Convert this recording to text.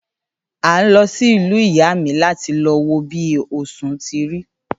À ń lọ sí ìlú ìyá míí láti lọ wo bi osùn ti rí.